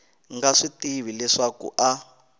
nga swi tivi leswaku a